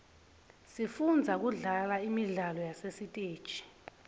sifunza kudlala imidlalo yasesiteji